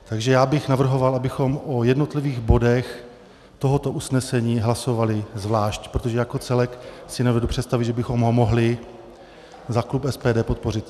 Takže já bych navrhoval, abychom o jednotlivých bodech tohoto usnesení hlasovali zvlášť, protože jako celek si nedovedu představit, že bychom ho mohli za klub SPD podpořit.